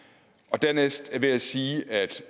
dernæst vil jeg sige at